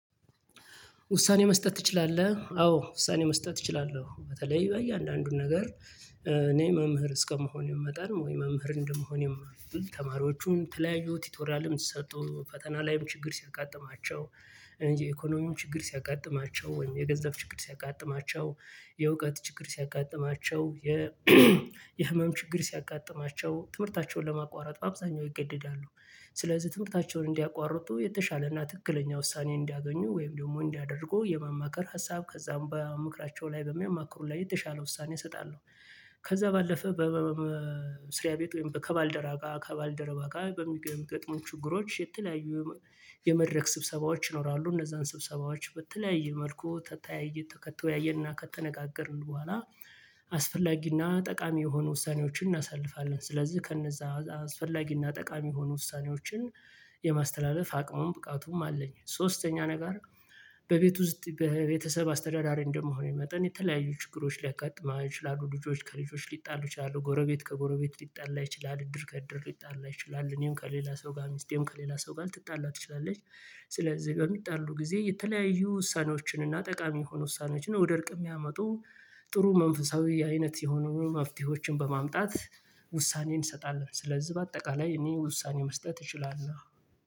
ውሳኔ መስጠት ትችላለህ? አዎ ውሳኔ መስጠት እችላለሁ። ቅልበተለይ በየአንዳንዱን ነገር እኔ መምህር እስከመሆን ይመጣል ወይ መምህር እንደመሆን የማውቅ ተማሪዎቹን ተለያዩ ቲቶሪያልም ሰጥቶ ፈተና ላይም ችግር ሲያቃጥማቸው ኢኮኖሚም ችግር ሲያቃጥማቸው ወይም የገንዘብ ችግር ሲያጋጥማቸው የእውቀት ችግር ሲያጋጥማቸው የ የህመም ችግር ሲያጋጥማቸው፣ ትምህርታቸውን ለማቋረጥ አብዛኛው ይገደዳሉ። ስለዚህ ትምህርታቸውን እንዲያቋርጡ የተሻለና ትክክለኛ ውሳኔ እንዲያገኙ ወይም ደግሞ እንዲያደርጉ የማማከር ሀሳብ ከዛም በምክራቸው ላይ በሚያማክሩ ላይ የተሻለ ውሳኔ እሰጣለሁ። ከዛ ባለፈ በስሪያ ቤት ወይም ከባልደራ ጋ ከባልደረባ ጋ በሚገጥሙን ችግሮች የተለያዩ የመድረክ ስብሰባዎች ይኖራሉ እነዛን ስብሰባዎች በተለያየ መልኩ ተተያይዞ ተከተው ያየና ከተነጋገርን በኋላ አስፈላጊና ጠቃሚ የሆኑ ውሳኔዎችን እናሳልፋለን። ስለዚህ ከነዛ አስፈላጊና ጠቃሚ የሆኑ ውሳኔዎችን የማስተላለፍ አቅሙም ብቃቱም አለኝ ሶስተኛ ነገር በቤቱ ውስጥ በቤተሰብ አስተዳዳሪ እንደመሆኑ መጠን የተለያዩ ችግሮች ሊያጋጥማቸው ይችላሉ ልጆች ከልጆች ሊጣሉ ይችላሉ ጎረቤት ከጎረቤት ሊጣላ ይችላል እድር ከእድር ሊጣላ ይችላል እኔም ከሌላ ሰው ጋር ሚስቴም ከሌላ ሰው ጋር ልትጣላ ትችላለች ስለዚህ በሚጣሉ ጊዜ የተለያዩ ውሳኔዎችን እና ጠቃሚ የሆኑ ውሳኔዎችን ነው። ወደ እርቅ የሚያመጡ ጥሩ መንፈሳዊ አይነት የሆኑ መፍትሄዎችን በማምጣት ውሳኔን እንሰጣለን። ስለዚህ በአጠቃላይ እኔ ውሳኔ መስጠት እችላለሁ